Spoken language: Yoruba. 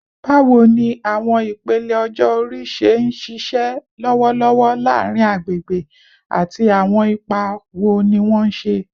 Bawo ni awọn ipele ọjọ-ori ṣe nṣiṣẹ lọwọlọwọ laarin agbegbe, ati awọn ipa wo ni wọn ṣe?